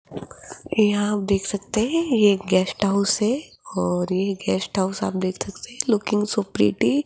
यहां आप देख सकते हैं ये गेस्ट हाउस है और ये गेस्ट हाउस आप देख सकते हैं लुकिंग सो प्रिटी --